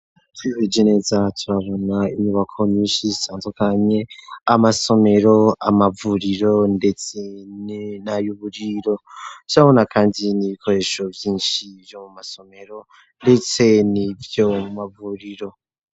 egeneza curabona inyubako nyinshi zitandukanye amasomero amavuriro ndetse nayuburiro cyabona kandi nibikoresho byinshi byo mu masomero ndetse nivyo mumavuriro.